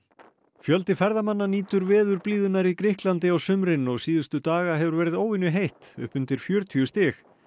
fjöldi ferðamanna nýtur veðurblíðunnar í Grikklandi á sumrin og síðustu daga hefur verið upp undir fjörutíu stig